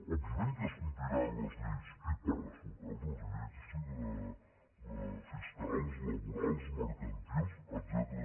òbviament que es compliran les lleis i per descomptat les lleis fiscals laborals mercantils etcètera